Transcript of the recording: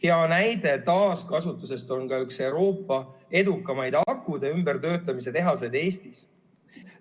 Hea näide taaskasutusest on ka üks Euroopa edukaimaid akude töötlemise tehaseid Eestis.